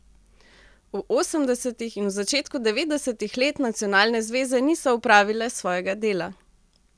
V osemdesetih in v začetku devetdesetih let nacionalne zveze niso opravile svojega dela.